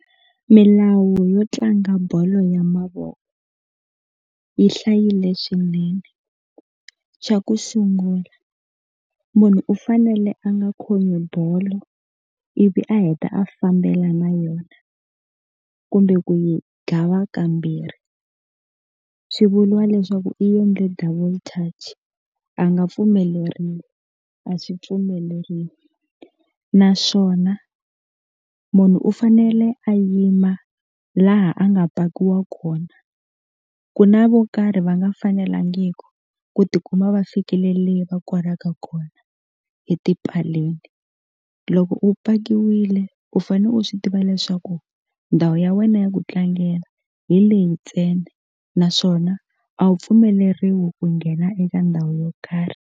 Milawu yo tlanga bolo ya mavoko yi hlayile swinene xa ku sungula munhu u fanele a nga khomi bolo ivi a heta a fambela na yona kumbe ku yi gava kambirhi swi vuliwa leswaku i yendle double touch a nga pfumeleriwi a swi pfumeleriwi naswona munhu u fanele a yima laha a nga pakiwa kona ku na vo karhi va nga fanelangiku ku tikuma va fikile le va koraka kona etipaleni loko upakiwile u fane u swi tiva leswaku ndhawu ya wena ya ku tlangela hi leyi ntsena naswona a wu pfumeleriwi ku nghena eka ndhawu yo karhi.